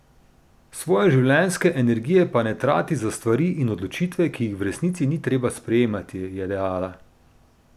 Svoje življenjske energije pa ne trati za stvari in odločitve, ki ji jih v resnici ni treba sprejemati, je dejala.